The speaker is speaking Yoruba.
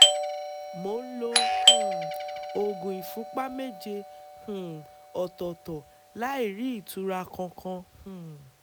mo ń lo um oògùn ìfúnpá méje um ọ̀tọ̀ọ̀tọ̀ láì rí ìtura kankan um